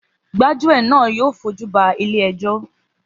Gbájúẹ̀ náà yóò fojúba ilé ẹjọ́